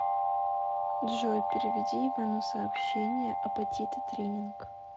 джой переведи ивану сообщение апатиты тренинг